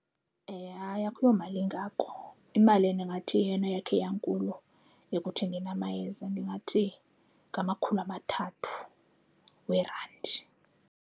Hayi, akuyomali engako. Imali endingathi yeyona yakhe yankulu ekuthengeni amayeza ndingathi ngamakhulu amathathu weerandi.